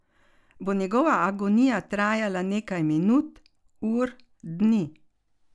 Bo njegova agonija trajala nekaj minut, ur, dni?